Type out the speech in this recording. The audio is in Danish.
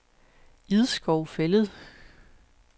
Idskov Fælled